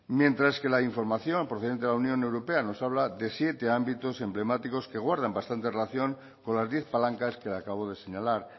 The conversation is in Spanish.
mientras que la información procedente de la unión europea nos habla de siete ámbitos emblemáticos que guardan bastante relación con las diez palancas que le acabo de señalar